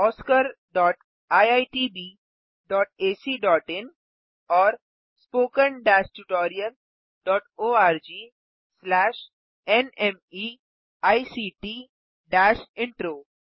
oscariitbacइन और spoken tutorialorgnmeict intro